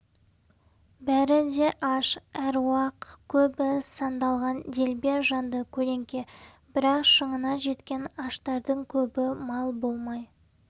бәрі де аш аруақ көбі сандалған делбе жанды көлеңке бірақ шыңына жеткен аштардың көбі мал болмай